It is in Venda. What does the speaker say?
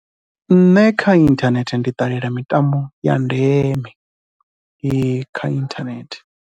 Nṋe kha inthanethe ndi ṱalela mitambo ya ndeme kha inthanethe.